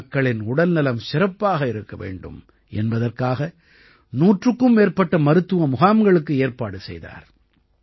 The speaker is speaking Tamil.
மக்களின் உடல்நலம் சிறப்பாக இருக்க வேண்டும் என்பதற்காக நூற்றுக்கும் மேற்பட்ட மருத்துவ முகாம்களுக்கு ஏற்பாடு செய்தார்